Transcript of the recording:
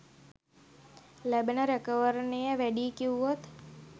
ලැබෙන රැකවරණය වැඩියි කිව්වොත්?